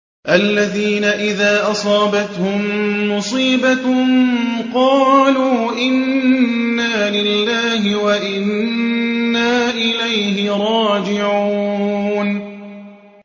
الَّذِينَ إِذَا أَصَابَتْهُم مُّصِيبَةٌ قَالُوا إِنَّا لِلَّهِ وَإِنَّا إِلَيْهِ رَاجِعُونَ